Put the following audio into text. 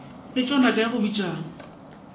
letšwa naka ya go bitšana